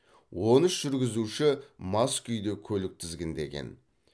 он үш жүргізуші мас күйде көлік тізгіндеген